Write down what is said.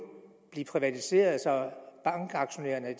blive privatiseret så bankaktionærerne